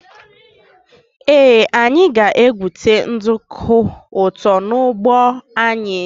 Ee anyị ga-egwute nduku ụtọ n' ụgbọ anyị echi.